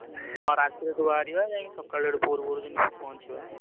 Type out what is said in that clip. ହୁଁ ରାତିରୁ ବାହାରିବା ସେଠୁ ଭୋରୁ ଭୋରୁ ଯାଇ ପହଞ୍ଚିବା।